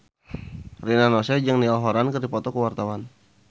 Rina Nose jeung Niall Horran keur dipoto ku wartawan